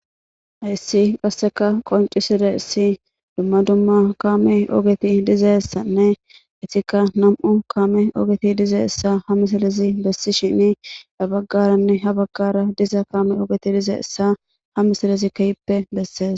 Haysi qaseka qonc'isizaysi duma duma kame ogeti dizaysane etika nam'u kame ogeti dizaysa ha missilezic besishen yabagara habagara diza kame hq missilezi kehipe beses.